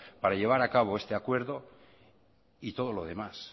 para llevar a cabo este acuerdo y todo lo demás